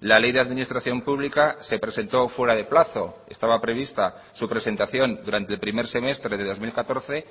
la ley de administración pública se presentó fuera de plazo estaba prevista su presentación durante el primer semestre de dos mil catorce